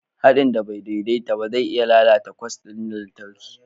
Haɗin da ba daidai ba zai iya lalata kwas ɗin lantarki